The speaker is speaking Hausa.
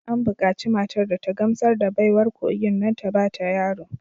An bukaci matar da ta gamsar da baiwar kogin don ta ba ta yaro